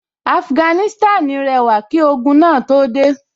Afuganísítànì rẹwà kí ogun máa tó dé